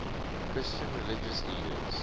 christian religious leaders